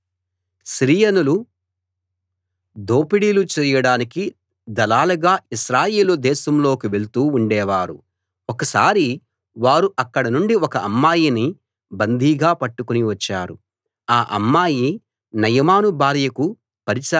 సిరియనులు దోపిడీలు చేయడానికి దళాలుగా ఇశ్రాయేలు దేశంలోకి వెళ్తూ ఉండేవారు ఒకసారి వారు అక్కడనుండి ఒక అమ్మాయిని బందీగా పట్టుకుని వచ్చారు ఆ అమ్మాయి నయమాను భార్యకు పరిచారిక అయింది